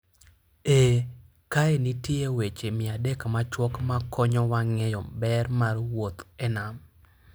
Ee, kae nitie weche 300 machuok makonyowa ng'eyo ber mar wuoth e nam: